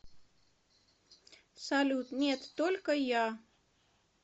салют нет только я